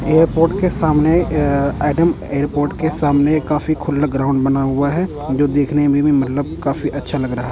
Airport के सामने अ एडम एयरपोर्ट के सामने काफी खुला ग्राउंड बना हुआ है जो देखने में भी मतलब काफी अच्छा लग रहा है।